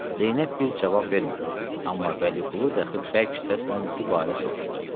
Zeynəb bir cavab vermədi, amma Vəliqulu daxı bərk səslə dübarə soruşdu.